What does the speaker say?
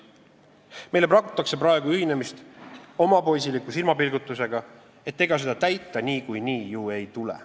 Meile pakutakse praegu ühinemist omapoisiliku silmapilgutusega, et ega seda täita niikuinii ju ei tule.